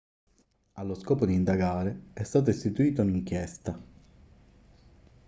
allo scopo di indagare è stata istituita un'inchiesta